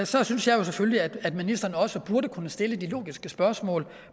så synes jeg selvfølgelig at ministeren også burde kunne stille de logiske spørgsmål